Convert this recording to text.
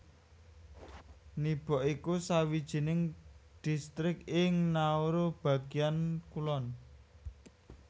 Nibok iku sawijining distrik ing Nauru bagéan kulon